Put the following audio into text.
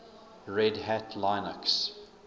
red hat linux